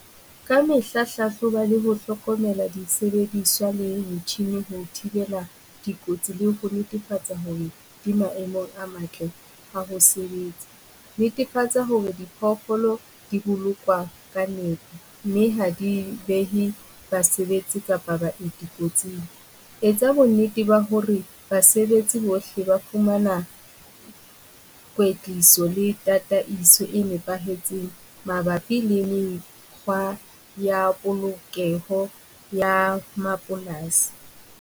Ka mehla hlahloba le ho hlokomela disebediswa le metjhini ho thibela dikotsi le ho netefatsa hore di maemong a matle a ho sebetsa, netefatsa hore diphoofolo di bolokwa ka mehla. Mme ha di behe basebetsi kapa baeti kotsing, etsa bonnete ba hore basebetsi bohle ba fumana kwetliso le tataiso e nepahetseng mabapi le mekgwa ya polokeho ya mapolasi.